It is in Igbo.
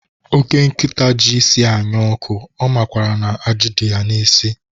Ọke nkịta ji isi anya ọkụ, ọ makwaara na ajị dị ya n'isi?